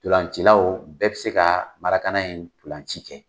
ntolancilaw bɛɛ tɛ se ka marakana in ntolanci kɛ !